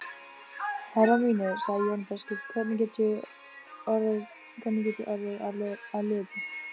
Herrar mínir, sagði Jón biskup,-hvernig get ég orðið að liði?